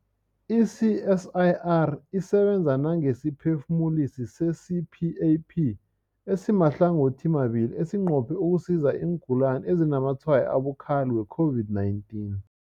I-CSIR isebenza nangesiphefumulisi se-CPAP esimahlangothimabili esinqophe ukusiza iingulani ezinazamatshwayo abukhali we-COVID-19.